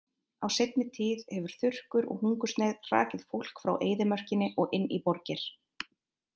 Á seinni tíð hefur þurrkur og hungursneyð hrakið fólk frá eyðimörkinni og inn í borgir.